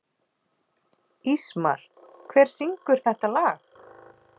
Ísmar, hver syngur þetta lag?